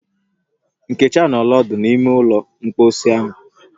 Nkechi anọọla odu n’ime ụlọ mposi ahu